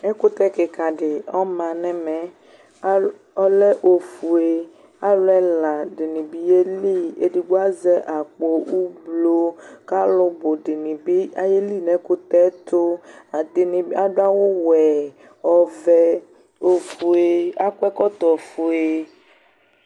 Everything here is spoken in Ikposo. Ɛkʋtɛ kika di ɔma nʋ ɛmɛ Ɔlɛ ofue Alʋ ɛla di ni bi yeli, ɛdigbo azɛ akpo ʋblʋɔ kʋ alʋ bʋ di ni bi ayeli nʋ ɛkʋtɛ yɛ tʋ Ɛdini adʋ awʋ wɛ, ɔvɛ, ofue Akɔ ɛkɔtɔ ofue